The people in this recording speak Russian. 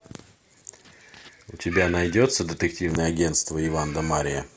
у тебя найдется детективное агенство иван да марья